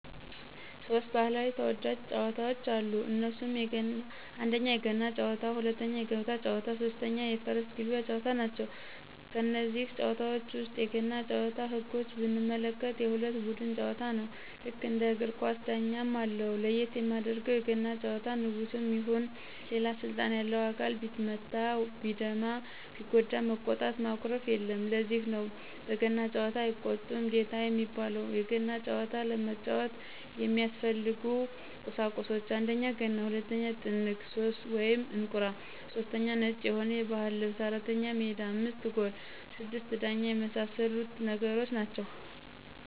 ሦስት ባህላዊ ተወዳጅ ጨዋታወች አሉ እነሱም 1: የገና ጨዋታ 2: የገበታ ጨዋታ 3: የፈረስ ግልቢያ ጨዋታ ናቸው። ከነዚህ ጨዋታወች ውስጥ የገና ጭዋታን ህጎች ብንመለከት የሁለት ቡድን ጨዋታ ነው ልክ እንደ እግር ኳስ ዳኛም አለው ለየት የሚያደርገው የገና ጨዋታ ንጉስም ይሁን ሌላ ስልጣን ያለው አካል ቢመታ ቢደማ ቢጎዳ መቆጣት ማኩረፍየለም ለዚህ ነው በገና ጨዋታ አይቆጣም ጌታ የሚባለው የገና ጨዋታ ለመጫወት የሚያስፈልጉ ቁሳቁሶች 1: ገና 2: ጥንግ /እንቁራ / 3: ነጭ የሆነ የባህል ልብስ 4: ሜዳ 5: ጎል 6: ዳኛ የመሳሰሉት ነገሮች ናቸው